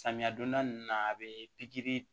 Samiya donda ninnu na a bɛ pikiri